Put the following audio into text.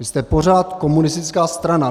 Vy jste pořád komunistická strana.